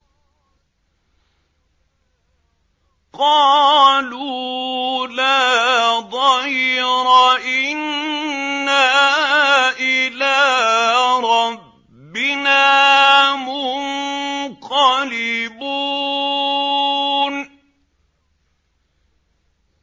قَالُوا لَا ضَيْرَ ۖ إِنَّا إِلَىٰ رَبِّنَا مُنقَلِبُونَ